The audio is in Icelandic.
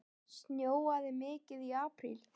Snjóaði mikið í apríl?